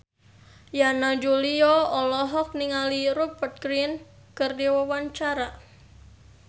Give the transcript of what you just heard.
Yana Julio olohok ningali Rupert Grin keur diwawancara